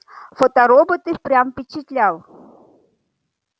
фоторобот и впрямь впечатлял